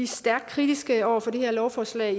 stærkt kritiske over for det her lovforslag